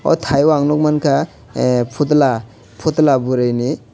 oh thaio ang nukmankha phutula phutula bwrwini.